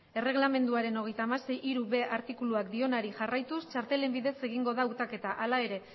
erreglamenduaren hogeita hamasei puntu hirub artikuluak dionari jarraituz txartelen bidez egingo da hautaketa hala ere